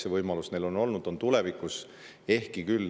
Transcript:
See võimalus on olnud ja on ka tulevikus.